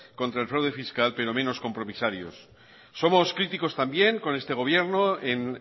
contra el fraude fiscal pero menos compromisarios somos críticos también con este gobierno en